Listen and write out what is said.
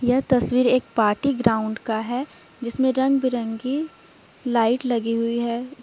यह तस्वीर एक पार्टी ग्राउंड का है जिसमें रंग बिरंगी लाइट लगी हुई है।